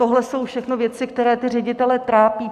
Tohle jsou všechno věci, které ty ředitele trápí.